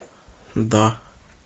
да